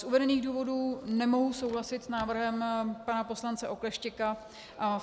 Z uvedených důvodů nemohu souhlasit s návrhem pana poslance Oklešťka.